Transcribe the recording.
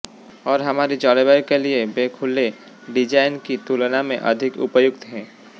और हमारी जलवायु के लिए वे खुले डिजाइन की तुलना में अधिक उपयुक्त हैं